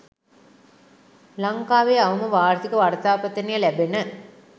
ලංකාවේ අවම වාර්ෂික වර්ෂාපතනය ලැබෙන